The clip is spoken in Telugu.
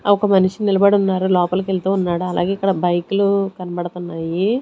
ఒక మనిషి నిలబడి ఉన్నారు లోపలికి వెళ్తూ ఉన్నాడు అలాగే ఇక్కడ బైకు లు కనబడుతున్నాయి.